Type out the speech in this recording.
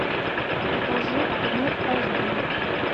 покажи гнев аш ди